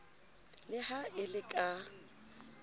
le ha e le ka